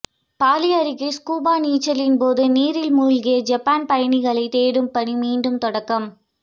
poly அருகே scuba நீச்சலின் போது நீரில் மூழ்கிய ஜப்பான் பயணிகளை தேடும் பணி மீண்டும் தொடக்கம்